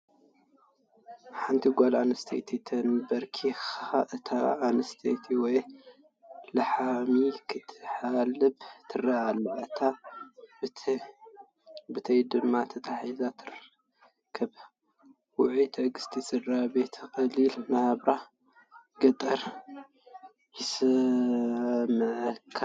ሓንቲ ጓል ኣንስተይቲ ተንበርኪኻ ንታ እንስሳኣ ወይ ላሐሚ ክትሓልባ ትርአ ኣላ። እታ ብተያ ድማ ተተሓዚዛ ትርከብ፡፡ ውዑይ ትዕግስቲ ስድራቤትን ቀሊል ናብራ ገጠርን ይስመዓካ።